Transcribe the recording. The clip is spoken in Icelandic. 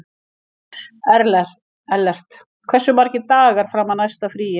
Ellert, hversu margir dagar fram að næsta fríi?